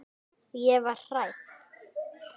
Ég var hrædd.